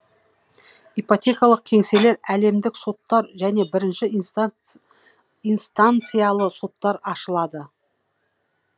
ипотекалық кеңселер әлемдік соттар және бірінші инстанциялы соттар ашылады